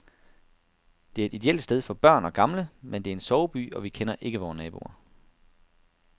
Det er et ideelt sted for børn og gamle, men det er en soveby, og vi kender ikke vore naboer.